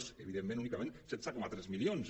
és evidentment únicament setze coma tres milions